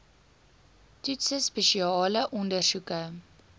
toetse spesiale ondersoeke